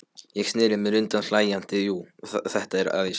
Ég sneri mér undan hlæjandi, jú, þetta var æðislegt.